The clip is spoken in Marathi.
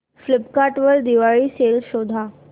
फ्लिपकार्ट वर दिवाळी सेल शोधा